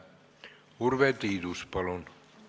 Urve Tiidus, palun!